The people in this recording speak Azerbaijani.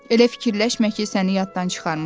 Elə fikirləşmə ki, səni yaddan çıxarmışam.